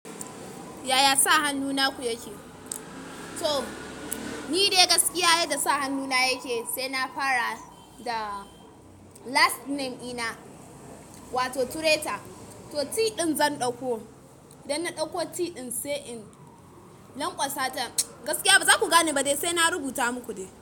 Yaya sa hannu naku yake? To, ni dai gaskiya yadda sa hannu na yake sai na fara da last name ina wato Turaita. To, T ɗin zan ɗauko. Dan na ɗauko T ɗin sai in lanƙwasa ta. Gaskiya ba za ku gane ba dai sai na rubuta muku dai.